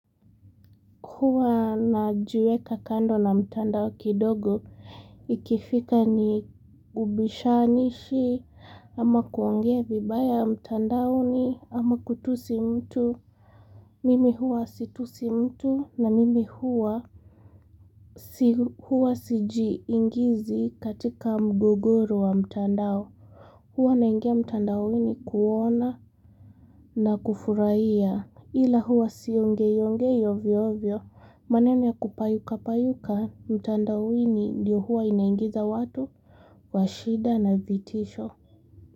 Huwa na juweka kando na mtandao kidogo ikifika ni ubishanishi ama kuongea vibaya mtandao ni ama kutusi mtu mimi huwa situsi mtu na mimi huwa huwa siji ingizi katika mguguru wa mtandao huwa naingia mtandaoini kuona na kufuraiya Ila huwa sionge yongei yovyovyo, maneno ya kupayuka payuka, mtandani ndiyo huwa inaingiza watu, washida na vitisho.